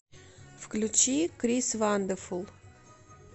включи крис вандефул